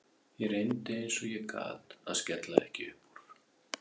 Ég reyndi eins og ég gat að skella ekki upp úr.